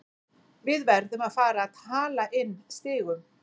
Við verðum að fara að hala inn stigum.